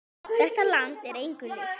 Þetta land er engu líkt.